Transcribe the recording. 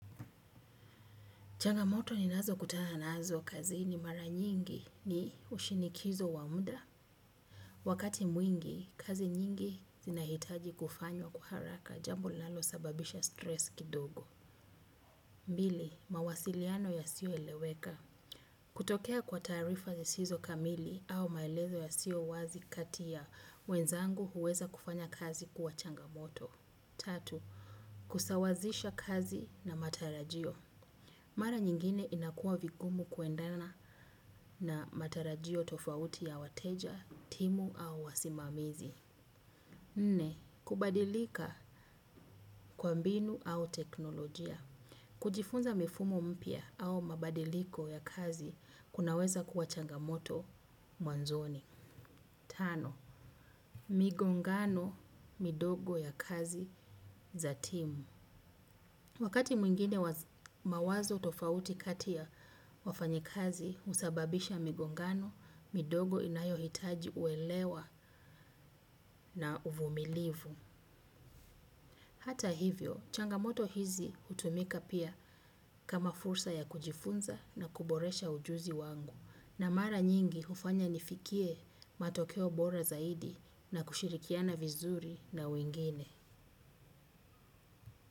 Changamoto ninazokutana nazo kazini mara nyingi ni ushinikizo wa muda. Wakati mwingi, kazi nyingi zinahitaji kufanywa kwa haraka jambo linalosababisha stress kidogo. Mbili, mawasiliano yasioeleweka. Kutokea kwa taarifa zisizo kamili au maelezo yasiyo wazi kati ya, wenzangu huweza kufanya kazi kuwa changamoto. Tatu, kusawazisha kazi na matarajio. Mara nyingine inakua vigumu kuendana na matarajio tofauti ya wateja, timu au wasimamizi. Nne, kubadilika kwa mbinu au teknolojia. Kujifunza mifumo mpya au mabadiliko ya kazi, kunaweza kuwa changamoto mwanzoni. Tano, migongano midogo ya kazi za timu wakati mwingine mawazo tofauti kati ya wafanyikazi husababisha migongano, midogo inayohitaji uelewa na uvumilivu. Hata hivyo, changamoto hizi utumika pia kama fursa ya kujifunza na kuboresha ujuzi wangu. Na mara nyingi hufanya nifikie matokeo bora zaidi na kushirikiana vizuri na wengine.